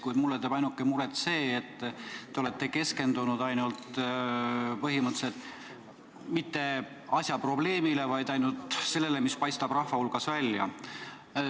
Kuid mulle teeb muret see, et te ei ole keskendunud põhimõtteliselt mitte probleemile, vaid ainult sellele, mis paistab rahvale silma.